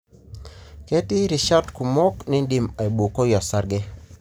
ketii irishat kumok nindim aibukoi osarge.